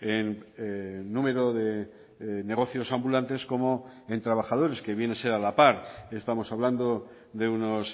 en número de negocios ambulantes como en trabajadores que viene ser a la par estamos hablando de unos